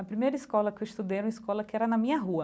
A primeira escola que eu estudei era uma escola que era na minha rua.